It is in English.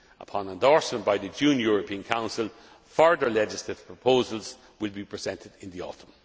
Upon endorsement by the June European Council, further legislative proposals will be presented in the autumn.